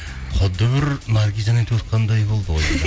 құдды бір наргизамен туысқандай болды ғой дейді